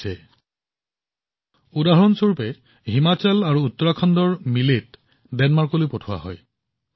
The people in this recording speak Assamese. উদাহৰণ স্বৰূপে উত্তৰাখণ্ডৰ হিমাচলত উৎপাদিত গোটা শস্য বাজৰাৰ প্ৰথম সামগ্ৰী ডেনমাৰ্কলৈ ৰপ্তানি কৰা হৈছিল